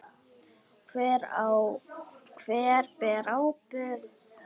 Hver ber ábyrgð?